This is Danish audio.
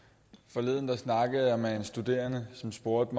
forleden snakkede jeg med en studerende som spurgte